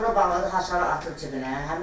Qapını bağladı, açarı atdı cibinə.